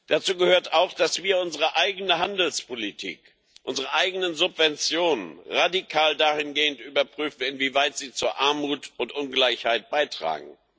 Dazu gehört auch, dass wir unsere eigene Handelspolitik, unsere eigenen Subventionen radikal dahingehend überprüfen, inwieweit sie zu Armut und Ungleichheit beitragen.